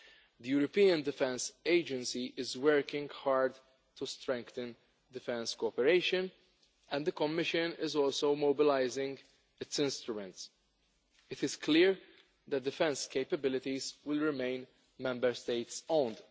The European Defence Agency is working hard to strengthen defence cooperation, and the Commission is also mobilising its instruments. It is clear that defence capabilities will remain Member State owned.